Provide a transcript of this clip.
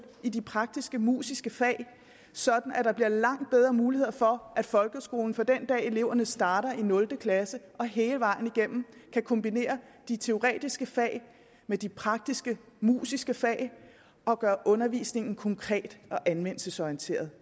i de praktiskemusiske fag så der bliver langt bedre mulighed for at folkeskolen fra den dag eleverne starter i nul klasse og hele vejen igennem kan kombinere de teoretiske fag med de praktiskemusiske fag og gøre undervisningen konkret og anvendelsesorienteret